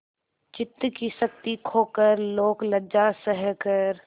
चित्त की शक्ति खोकर लोकलज्जा सहकर